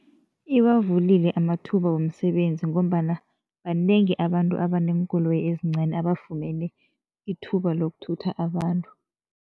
Iwavulile amathuba womsebenzi ngombana banengi abantu abaneenkoloyi ezincani abafumene ithuba lokuthutha abantu.